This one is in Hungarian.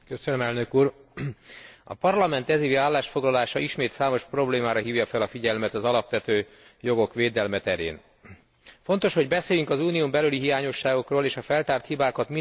A Parlament ez évi állásfoglalása ismét számos problémára hívja fel a figyelmet az alapvető jogok védelme terén. Fontos, hogy beszéljünk az Unión belüli hiányosságokról, és a feltárt hibákat minél előbb orvosolni tudjuk.